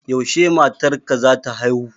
Yaushe matar ka za ta haihu?